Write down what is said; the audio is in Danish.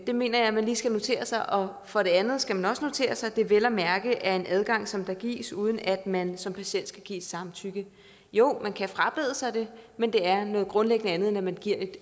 det mener jeg man lige skal notere sig og for det andet skal man også notere sig at det vel at mærke er en adgang som gives uden at man som patient skal give sit samtykke jo man kan frabede sig det men det er grundlæggende noget andet når man giver